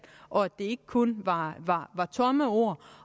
og at det ikke kun var tomme ord